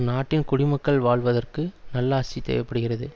நாட்டின் குடிமக்கள் வாழ்வதற்கு நல்லாசி தேவை படுகிறது